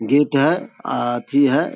gate है आथि हैं |